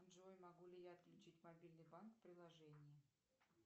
джой могу ли я отключить мобильный банк в приложении